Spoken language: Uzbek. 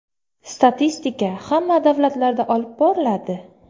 Statistika hamma davlatlarda olib boriladi.